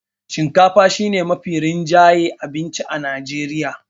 shinkafa shi ne Mafi rinjayen abincin Najreriya